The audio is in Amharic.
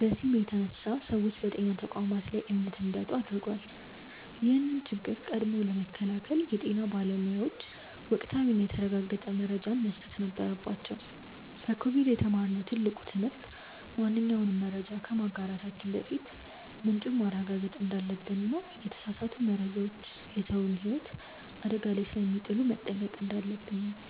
በዚህም የተነሳ ሰዎች በጤና ተቋማት ላይ እምነት እንዲያጡ አድርጓል። ይህን ችግር ቀድሞ ለመከላከል የጤና ባለሙያዎች ወቅታዊና የተረጋገጠ መረጃን መስጠት ነበረባቸው። ከኮቪድ የተማርነው ትልቁ ትምህርት ማንኛውንም መረጃ ከማጋራታችን በፊት ምንጩን ማረጋገጥ እንዳለብንና የተሳሳቱ መረጃዎች የሰውን ህይወት አደጋ ላይ ስለሚጥሉ መጠንቀቅ እንዳለብን ነው።